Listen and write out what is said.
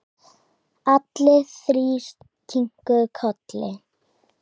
Allir þrír kinkuðu kolli.